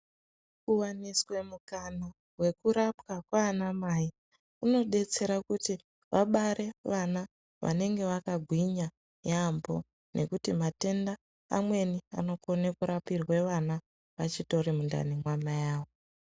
Kuwaniswe mukana wekurapwa kwaana mai kunobetsera kuti vabare vana vanenge vakagwinya yaambo nekuti matenda amweni anokone kurapirwe vana vachitori mundani maamai avo.